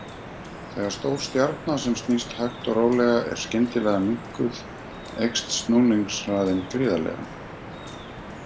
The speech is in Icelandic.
Þegar stór stjarna sem snýst hægt og rólega er skyndilega minnkuð eykst snúningshraðinn gríðarlega.